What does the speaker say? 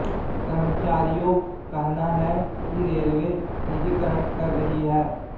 कर्मचारियों कहना है कि रेलवे निजीकरण कर रही है